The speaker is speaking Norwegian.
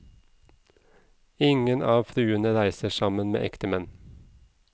Ingen av fruene reiser sammen med ektemenn.